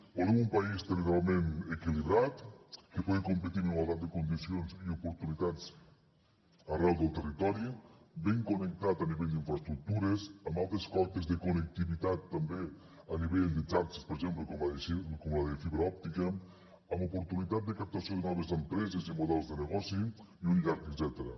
volem un país territorialment equilibrat que pugui competir amb igualtat de condicions i oportunitats arreu del territori ben connectat a nivell d’infraestructures amb altes cotes de connectivitat també a nivell de xarxes per exemple com la de fibra òptica amb oportunitat de captació de noves empreses i models de negoci i un llarg etcètera